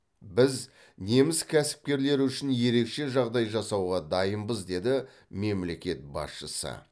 біз неміс кәсіпкерлері үшін ерекше жағдай жасауға дайынбыз деді мемлекет басшысы